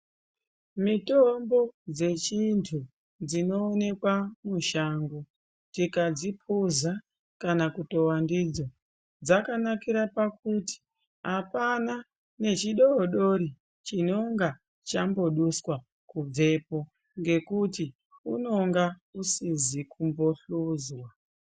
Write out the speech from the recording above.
Mitombo dzechintu dzinoonekwa mushango. Tikadzipuza kana kutova ndidzo dzakanakira pakuti hapana nechidodori chinonga chamboduswa kubvepo ngekuti unonga usizi kumbohluzwa.